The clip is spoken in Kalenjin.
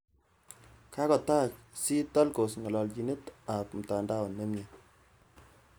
Kagotai C, Telcos ng'alaalchinet ap mtandao nemyie.